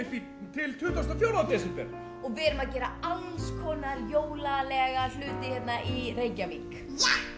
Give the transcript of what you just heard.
til tuttugasta og fjórða desember og við erum að gera alls konar hluti hér í Reykjavík